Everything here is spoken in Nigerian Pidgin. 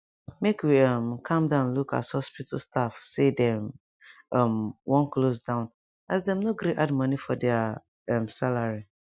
make we um calm down look as hospital staff say dem um wan close down as dem no gree add money for deir um salary